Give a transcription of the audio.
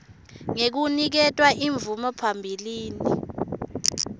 ngekuniketwa imvume phambilini